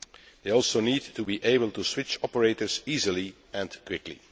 They also need to be able to switch operators easily and quickly.